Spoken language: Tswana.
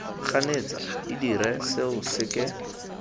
ganetsa de dire seo seke